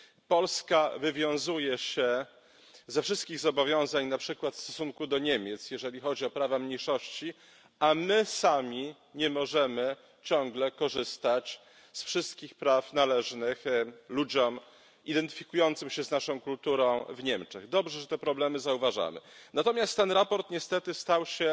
Polska wywiązuje się ze wszystkich zobowiązań na przykład w stosunku do Niemiec, jeżeli chodzi o prawa mniejszości, a my sami nie możemy ciągle korzystać z wszystkich praw należnych ludziom identyfikującym się z naszą kulturą w Niemczech. Dobrze, że te problemy zauważamy. Natomiast to sprawozdanie stało się